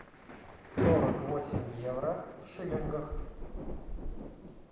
сорок восемь евро в шиллингах